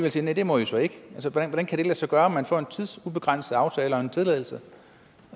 og siger næh det må i så ikke hvordan kan det lade sig gøre at man får en tidsubegrænset aftale og en tilladelse